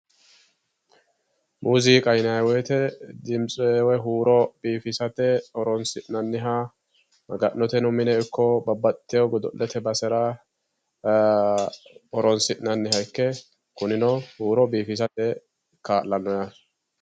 Muziiqa yinnanni woyte dimitse woyi huuro biifisate horonsi'nanniha maga'note mineno ikko babbaxewo godo'lete basera horonsi'nanniha ikke kunino huuro biifissate kaa'lano.